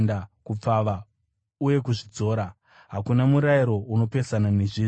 kupfava uye kuzvidzora. Hakuna murayiro unopesana nezvizvi.